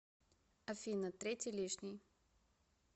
афина третий лишний